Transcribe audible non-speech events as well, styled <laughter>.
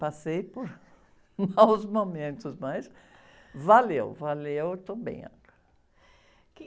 Passei por maus <laughs> momentos, mas valeu, valeu, eu estou bem agora.